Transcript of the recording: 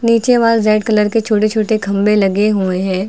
नीचे वहां red colour के छोटे छोटे खंबे लगे हुए हैं।